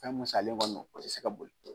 Fɛn min salen kɔni, a tɛ se ka boli.